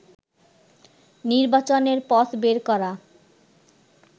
নির্বাচনের পথ বের করা